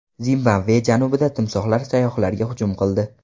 Zimbabve janubida timsohlar sayyohlarga hujum qildi.